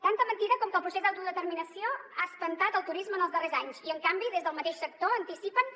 tanta mentida com que el procés d’autodeterminació ha espantat el turisme en els darrers anys i en canvi des del mateix sector anticipen